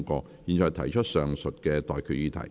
我現在向各位提出上述待決議題。